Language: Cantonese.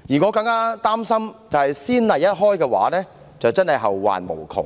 我個人更擔心先例一開，真的會後患無窮，